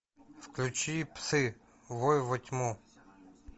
включи псы вой во тьму